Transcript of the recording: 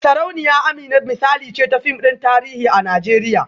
Sarauniya Amina misali ce ta fim din tarihi a Najeriya